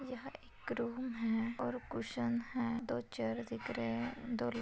यह एक रूम है और कुषण है दो चेयर दिख रहे है दो--